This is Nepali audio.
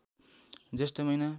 जेष्ठ महिना